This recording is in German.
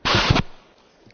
Herr Präsident!